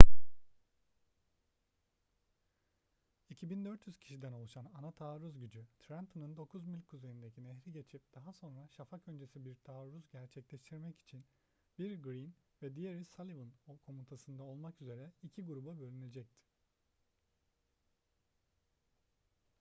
2.400 kişiden oluşan ana taarruz gücü trenton'un dokuz mil kuzeyindeki nehri geçip daha sonra şafak öncesi bir taarruz gerçekleştirmek için biri greene ve diğeri sullivan komutasında olmak üzere iki gruba bölünecekti